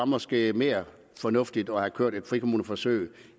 måske var mere fornuftigt at have kørt et frikommuneforsøg